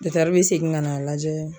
dɔtɛri be segin ka n'a lajɛ